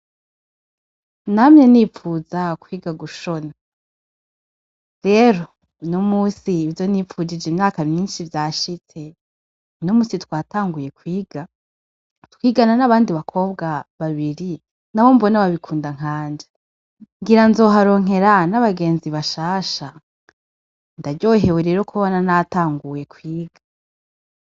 Namye nipfuza kwiga gushona, rero uno musi ivyo nipfujije imyaka myinshi vyashitse. Uno musi twatanguye kwiga, twigana n’abandi bakobwa babiri, nabo mbona babikunda nkanje. Ngira nzoharonkera n’abagenzi bashasha. Ndaryohewe rero kubona natanguye kwiga.